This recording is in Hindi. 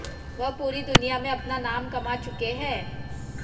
वह पूरी दुनिया में अपना नाम कमा चुके हैं